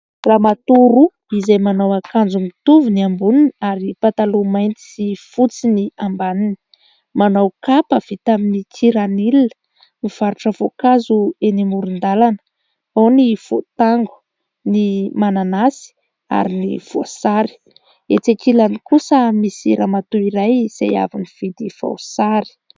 Ramatoa roa izay manao akanjo mitovy ny amboniny ary pataloha mainty sy fotsiny ny ambaniny, manao kapa vita amin'ny kiranila. Mivarotra voankazo eny amoron-dalana ao ny voatango, ny mananasy ary ny voasary. Etsy ankilany kosa misy ramatoa iray izay avy nividy voasary.